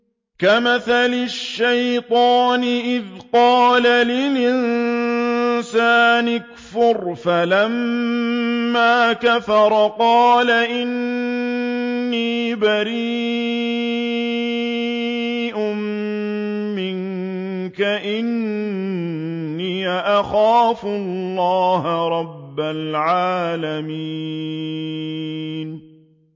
كَمَثَلِ الشَّيْطَانِ إِذْ قَالَ لِلْإِنسَانِ اكْفُرْ فَلَمَّا كَفَرَ قَالَ إِنِّي بَرِيءٌ مِّنكَ إِنِّي أَخَافُ اللَّهَ رَبَّ الْعَالَمِينَ